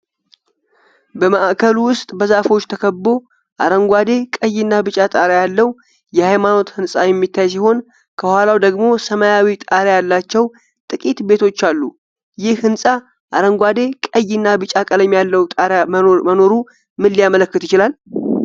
በማዕከሉ ውስጥ፣ በዛፎች ተከቦ አረንጓዴ፣ ቀይና ቢጫ ጣሪያ ያለው የሃይማኖት ሕንፃ የሚታይ ሲሆን ከኋላው ደግሞ ሰማያዊ ጣሪያ ያላቸው ጥቂት ቤቶች አሉ። ይህ ሕንፃ አረንጓዴ፣ ቀይ እና ቢጫ ቀለም ያለው ጣሪያ መኖሩ ምን ሊያመለክት ይችላል?